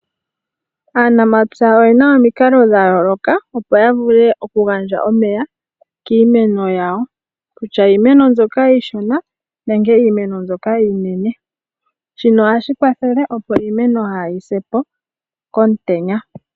Aanamapya oyena omikalo dhayooloka opo yavulu okugandja omeya kiimeno yawo. Kutya iimeno mbyoka iishona nenge iimeno mboka iinene. Shino ohashi kwathele opo iimeno kaayisepo komutenya.